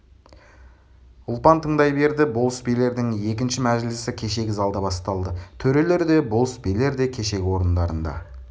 ұлпан тыңдай берді болыс-билердің екінші мәжілісі кешегі залда басталды төрелер де болыс-билер де кешегі орындарында